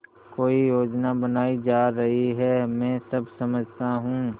कोई योजना बनाई जा रही है मैं सब समझता हूँ